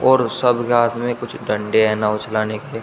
और सब के हाथ में कुछ डंडे हैं नाव चलाने के--